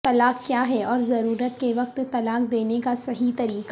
طلاق کیا ہے اور ضرورت کے وقت طلاق دینے کا صحیح طریقہ